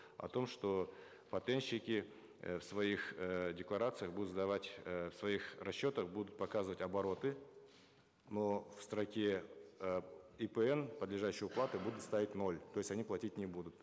о том что патентщики э в своих эээ декларациях будут сдавать э в своих расчетах будут показывать обороты но в строке э ипн подлежащей уплате будут ставить ноль то есть они платить не будут